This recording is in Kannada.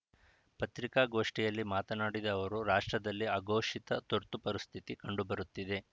ಪತ್ರಿಕಾಗೋಷ್ಠಿಯಲ್ಲಿ ಮಾತನಾಡಿದ ಅವರು ರಾಷ್ಟ್ರದಲ್ಲಿ ಅಘೋಷಿತ ತುರ್ತು ಪರಿಸ್ಥಿತಿ ಕಂಡುಬರುತ್ತಿದೆ